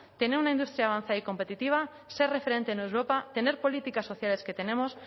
tener una industria avanza y competitiva ser referente en europa tener políticas sociales que tenemos